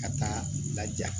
Ka taa laja